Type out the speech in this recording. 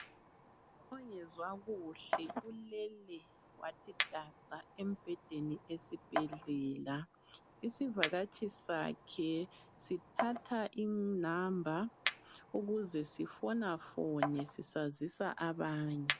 Ongezwa kuhle ulele wathi daca embhedeni isivakatshi sakhe sithatha i number ukuze sifonafone sisazisa abanye.